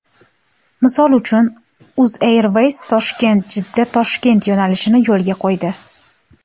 Misol uchun, UzAirways ToshkentJiddaToshkent yo‘nalishini yo‘lga qo‘ydi.